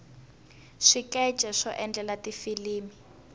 swikeche swo endlela tifilimi